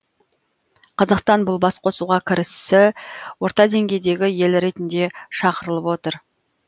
қазақстан бұл басқосуға кірісі орта деңгейдегі ел ретінде шақырылып отыр